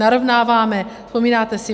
Narovnáváme, vzpomínáte si?